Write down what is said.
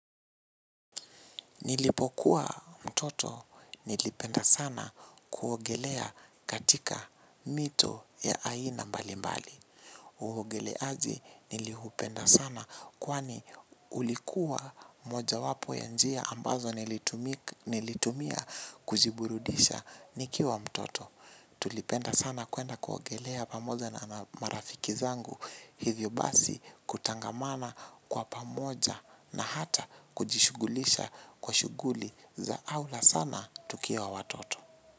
Nilipokuwa mtoto nilipenda sana kuogelea katika mito ya aina mbalimbali. Uogeleaji niliupenda sana kwani ulikuwa mojawapo ya njia ambazo nilitumia kujiburudisha nikiwa mtoto. Tulipenda sana kuenda kuogelea pamoja na marafiki zangu hivyo basi kutangamana kwa pamoja na hata kujishughulisha kwa shughuli za aula sana tukiwa watoto.